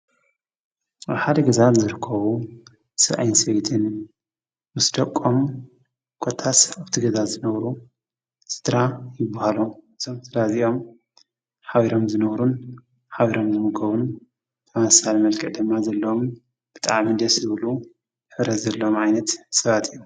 ብሓደ ገዛት ዘርከቡ ስዐይንሴይትን ምስ ደቆም ጐታስሕ ኣብቲ ገዛት ዘነውሩ ሥድራ ይብሃሎም ።ዘውትዳ እዚኦም ኃቢሮም ዘነውሩን ኃቢሮም ዘምጎቡን ተመሳለ መልቀ ደማ ዘሎም ብጣዓምንድ ሥብሉ ሕረ ዘሎም ዓይነት ሰባት እዮም።